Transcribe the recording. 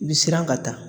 I bi siran ka taa